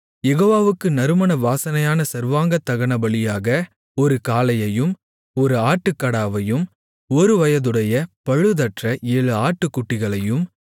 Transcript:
யெகோவாவுக்கு நறுமண வாசனையான சர்வாங்கதகனபலியாக ஒரு காளையையும் ஒரு ஆட்டுக்கடாவையும் ஒருவயதுடைய பழுதற்ற ஏழு ஆட்டுக்குட்டிகளையும்